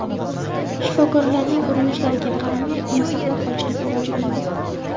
Shifokorlarning urinishlariga qaramay uni saqlab qolishning iloji bo‘lmadi.